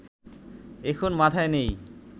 এখন মাথায় নেই